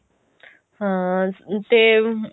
ਹਾਂ ਤੇ